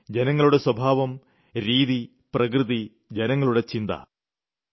പിന്നെ ജനങ്ങളുടെ സ്വഭാവം രീതി പ്രകൃതി ജനങ്ങളുടെ ചിന്ത